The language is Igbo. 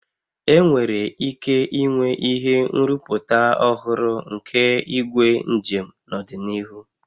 Enwere ike inwe ihe nrụpụta ọhụrụ nke igwe njem n'ọdịnihu